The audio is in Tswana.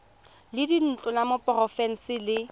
la dintlo la porofense le